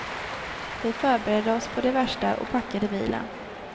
Vi förberedde oss på det värsta och packade bilen.